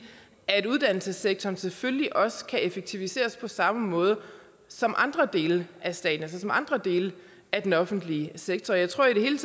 at uddannelsessektoren selvfølgelig også kan effektiviseres på samme måde som andre dele af staten altså som andre dele af den offentlige sektor jeg tror i det hele